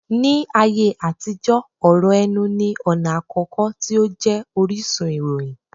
Ní ayé àtijó, ọ̀rọ̀ ẹnu ní ọ̀nà àkọ́kọ́ tí ó jẹ́ orísun ìròyìn